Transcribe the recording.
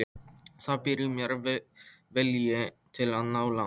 Það býr í mér vilji til að ná langt.